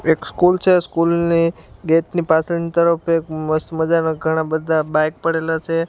એક સ્કૂલ છે સ્કૂલ ની ગેટ ની પાછળની તરફ એક મસ્ત મજાના ઘણા બધા બાઈક પડેલા છે.